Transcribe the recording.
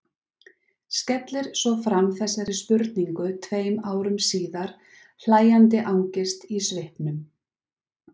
Skellir svo fram þessari spurningu tveim árum síðar, hlæjandi angist í svipnum.